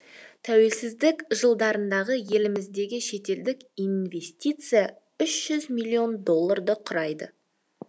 тәуелсіздік жылдарындағы еліміздегі шетелдік инвестиция үш жүз миллион долларды құрайды